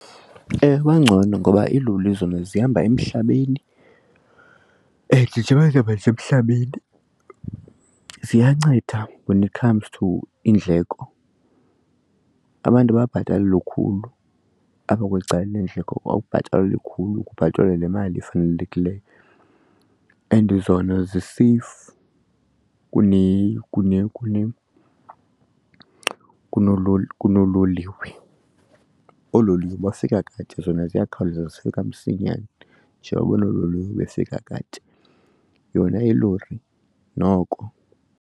Bangcono ngoba iiloli zona zihamba emhlabeni and njengoba zihamba nje emhlabeni ziyanceda when it comes to iindleko. Abantu ababhatali lukhulu apha kweli cala leendleko, awubhatalwa lukhulu kubhatalwa le mali ifanelekileyo and zona ziseyifu kunoololiwe. Oololiwe bafika kade, zona ziyakhawuleza zifika msinyane. Njengoba oololiwe befika kade, yona ilori noko.